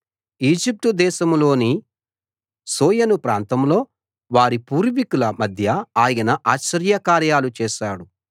ఈజిప్టుదేశంలోని సోయను ప్రాంతంలో వారి పూర్వీకుల మధ్య ఆయన ఆశ్చర్యకార్యాలు చేశాడు